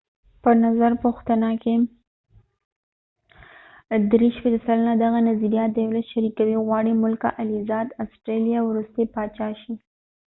په نظرپوښتنه کې ۳۴ سلنه دغه نظر شریکوي، غواړي ملکه الیزابت ii د آسټرالیا وروستی پاچا شي